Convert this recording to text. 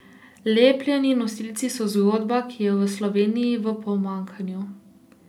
Lepljeni nosilci so zgodba, ki je v Sloveniji v pomanjkanju.